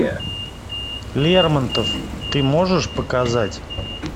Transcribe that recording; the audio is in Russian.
лермонтов ты можешь показать